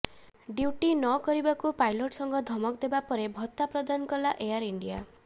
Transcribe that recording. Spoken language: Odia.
ଡିୟୁଟି ନ କରିବାକୁ ପାଇଲଟ୍ ସଂଘ ଧମକ ଦେବା ପରେ ଭତ୍ତା ପ୍ରଦାନ କଲା ଏୟାର୍ ଇଣ୍ଡିଆ